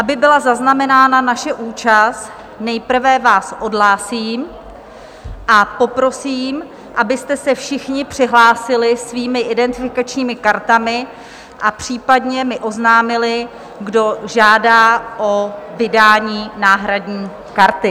Aby byla zaznamenána naše účast, nejprve vás odhlásím a poprosím, abyste se všichni přihlásili svými identifikačními kartami a případně mi oznámili, kdo žádá o vydání náhradní karty.